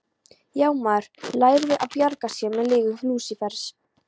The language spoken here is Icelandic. Já, maður lærði að bjarga sér með lygum Lúsífers.